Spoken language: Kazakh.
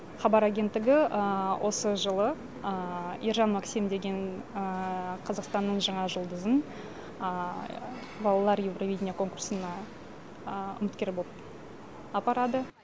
хабар агенттігі осы жылы ержан максим деген қазақстанның жаңа жұлдызын балалар евровидение конкурсына үміткер боп апарады